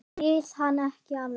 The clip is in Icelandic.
Skil hann ekki alveg.